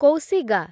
କୌଶିଗା